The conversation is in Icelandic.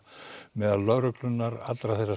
meðal lögreglunnar allra